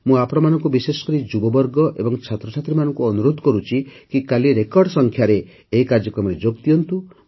ମୁଁ ଆପଣମାନଙ୍କୁ ବିଶେଷକରି ଯୁବବର୍ଗ ଓ ଛାତ୍ରଛାତ୍ରୀମାନଙ୍କୁ ଅନୁରୋଧ କରୁଛି କି କାଲି ରେକର୍ଡ଼ ସଂଖ୍ୟାରେ ଏହି କାର୍ଯ୍ୟକ୍ରମରେ ଯୋଗ ଦିଅନ୍ତୁ